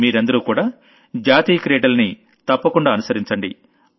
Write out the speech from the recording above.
మీరందరూ కూడా national games ని తప్పకుండా ఫాలో అవ్వండి